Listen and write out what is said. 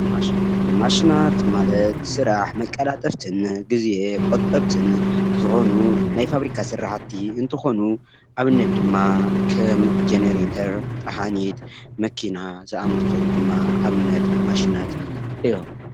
ማሽናት፦ ማሽናት ማለት ስራሕ መቀላጠፍትን ግዜ ቁጠብትን ዝኮኑ ናይ ፋብሪካ ስራሕቲ እንትኮኑ አብነት ድማ ከም ጀኔረተር ፣ጠሓኒት መኪና ዝአመስሉ ድማ አብነት ማሽናት እዩም፡፡